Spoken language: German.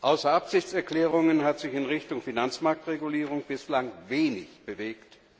Außer Absichtserklärungen hat sich in Richtung Finanzmarktregulierung bislang wenig bewegt.